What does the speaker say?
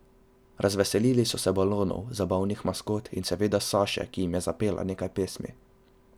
Razveselili so se balonov, zabavnih maskot in seveda Saše, ki jim je zapela nekaj pesmi.